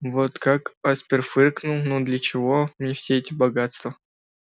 вот как аспер фыркнул но для чего мне все эти богатства